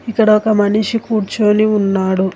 ఇక్కడ ఒక మనిషి కూర్చొని ఉన్నాడు.